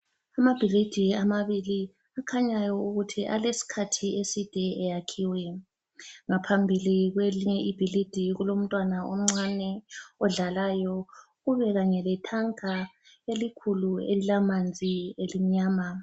Amabhilidi amabili akhanyayo ukuthi alesikhathi eside eyakhiwe. Ngaphambili kwelinye ibhilidi kulomntwana omncane odlalayo. Kube kanye letanka elikhulu elilamanzi elimnyama.